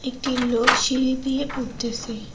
একটি লোক সিঁড়ি দিয়ে উঠতেছে।